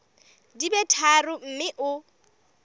di be tharo mme o